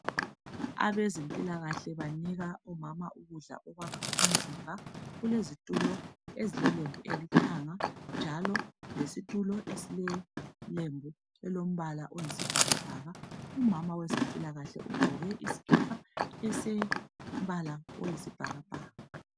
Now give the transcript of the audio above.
Abezempilakahle banika omama ukudla okwakha umzimba. Kulezitulo ezilelembu elilithanga njalo lesitulo esilelembu elilombal oyisibhakabhaka. Umama wezempilakahle ugaoke isikipa esilombala oyisibhakabhaka njalo.